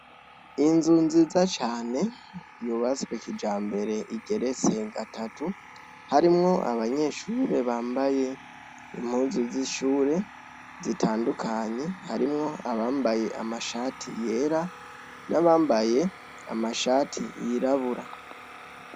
inzu nziza cyane yubastwe kijambere igerestwe gatatu harimwo abanyeshure bambaye impunzu z'ishure zitandukanye harimwo abambaye amashati yera n'abambaye amashati yirabura